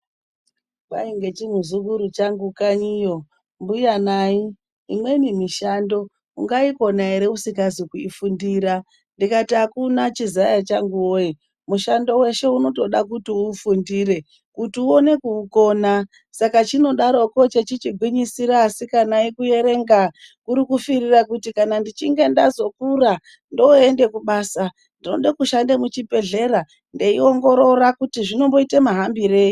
Kwai ngechimuzukuru changu kanyiyo mbuyanayi imweni mishando ungaikona ere usingazi kuifundira ndikati akuna chizaya changu woye mushando weshe unotoda kuti uufundire kuti uone kuukona saka chinodaroko chechigwinyisira asikanayi kuerenga kurikufirira kuti kana ndechinge ndazokura ndoende kubasa ndode kushande muchibhehlera ndeiongorora kuti zvinomboite mahambirei.